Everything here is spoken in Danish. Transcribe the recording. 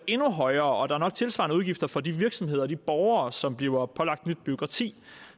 endnu højere og der er nok tilsvarende udgifter for de virksomheder og borgere som bliver pålagt nyt bureaukrati